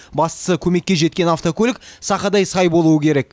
бастысы көмекке жеткен автокөлік сақадай сай болуы керек